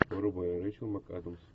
врубай рейчел макадамс